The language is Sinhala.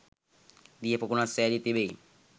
දියපොකුණක් සෑදී තිබෙයි.